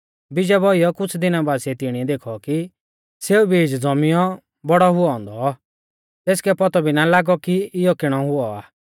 बीजा बौइयौ कुछ़ दिना बासिऐ तिणिऐ देखौ कि सौ बीज़ ज़ौमियौ बौड़ौ हुऔ औन्दौ तेसकै पौतौ भी ना लागौ कि इयौ किणौ हुऔ आ